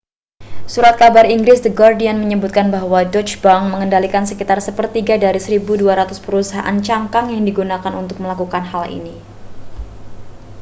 surat kabar inggris the guardian menyebutkan bahwa deutsche bank mengendalikan sekitar sepertiga dari 1.200 perusahaan cangkang yang digunakan untuk melakukan hal ini